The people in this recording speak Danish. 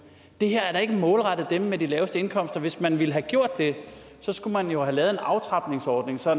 det her er da ikke målrettet dem med de laveste indkomster hvis man ville have gjort det skulle man jo have lavet en aftrapningsordning for